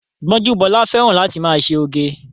Gbọ́njúbọ́lá fẹ́ràn láti máa ṣe oge